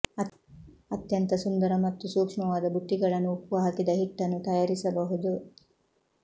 ಅತ್ಯಂತ ಸುಂದರ ಮತ್ತು ಸೂಕ್ಷ್ಮವಾದ ಬುಟ್ಟಿಗಳನ್ನು ಉಪ್ಪು ಹಾಕಿದ ಹಿಟ್ಟನ್ನು ತಯಾರಿಸಬಹುದು